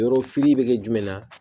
Yɔrɔ fili bɛ kɛ jumɛn ye